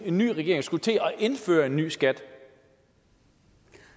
en ny regering skulle til at indføre en ny skat